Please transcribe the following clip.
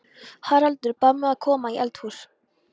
Haraldur bað mig að koma í eldhús.